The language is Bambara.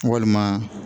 Walima